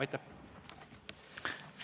Aitäh!